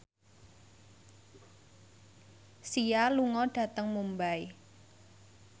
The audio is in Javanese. Sia lunga dhateng Mumbai